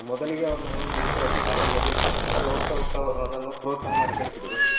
ಮೊದಲಿಗೆ ಅವರು ನನ್ನನ್ನು ಬಿಡ್ತ ಇರ್ಲಿಲ್ಲ ಅವರಿಗೆ ಹೆದರಿಕೆ ಇತ್ತು ಮತ್ತೆ ಹೋಗ್ತಾ ಹೋಗ್ತಾ ಅವರು ನನ್ನನ್ನು ಪ್ರೋತ್ಸಾಹ ಮಾಡಿ ಕಳಿಸಿದ್ರು.